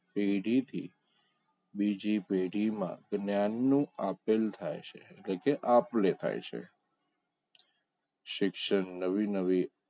પેઢી થી બીજી પેઢીમાં જ્ઞાનનું આપેલ થાય છે જે કે આપદે થાય છે શિક્ષણ નવી નવી